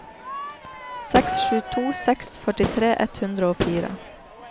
seks sju to seks førtitre ett hundre og fire